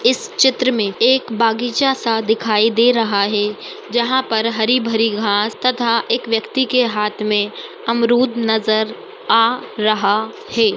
इस चित्र मे एक बागीचा सा दिखाई दे रहा है जहां पर हरी भरी घास तथा एक व्यक्ति के हाथ मे अमरूद नजर आ रहा है।